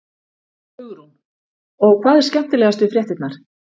Hugrún: Og hvað er skemmtilegast við fréttirnar?